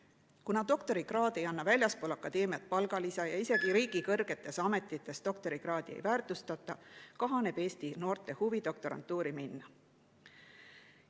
Kuna doktorikraad ei anna väljaspool akadeemiat palgalisa ja isegi kõrgetes riigiametites doktorikraadi ei väärtustata, kahaneb Eesti noorte huvi doktorantuuri minna.